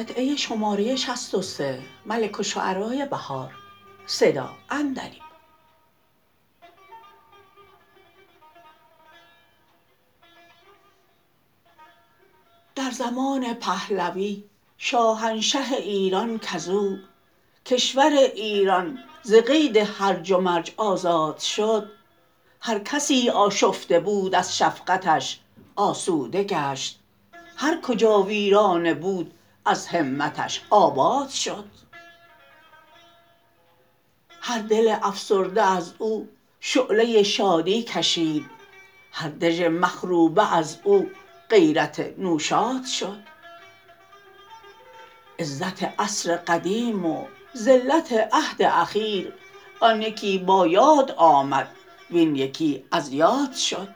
در زمان پهلوی شاهنشه ایران کزو کشور ایران ز قید هرج و مرج آزاد شد هرکسی آشفته بود از شفقتش آسوده گشت هرکجا ویرانه بود از همتش آباد شد هر دل افسرده از او شعله شادی کشید هر دژ مخروبه از او غیرت نوشاد شد عزت عصر قدیم و ذلت عهد اخیر آن یکی با یاد آمد وین یکی از یاد شد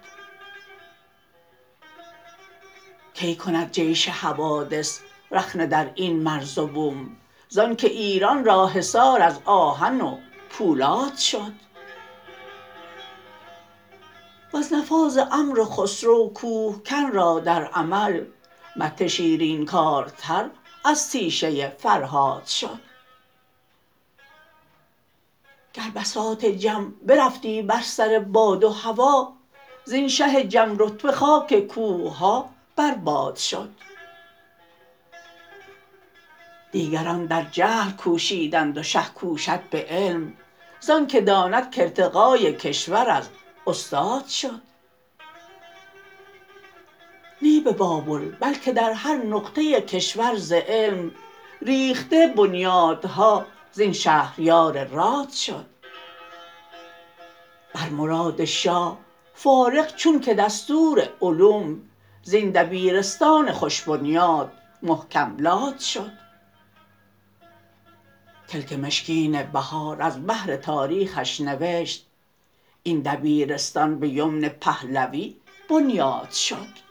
کی کند جیش حوادث رخنه دراین مرز و بوم زان که ایران را حصار از آهن و پولاد شد وز نفاذ امر خسرو کوهکن را در عمل مته شیرین کارتر از تیشه فرهاد شد گر بساط جم برفتی بر سر باد و هوا زین شه جم رتبه خاک کوه ها بر باد شد دیگران در جهل کوشیدند و شه کوشد به علم زان که داند که ارتقای کشور از استاد شد نی به بابل بلکه در هر نقطه کشور ز علم ریخته بنیادها زین شهریار راد شد بر مراد شاه فارغ چون که دستور علوم زبن دبیرستان خوش بنیاد محکم لاد شد کلک مشکین بهار از بهر تاریخش نوشت این دبیرستان به یمن پهلوی بنیاد شد